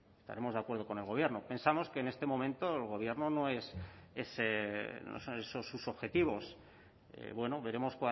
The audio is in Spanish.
estaremos de acuerdo con el gobierno pensamos que en este momento el gobierno no es no son esos sus objetivos bueno veremos